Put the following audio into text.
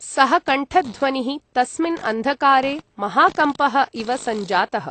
सः कण्ठध्वनिः तस्मिन् अन्धकारे महाकम्पः इव सञ्जातः।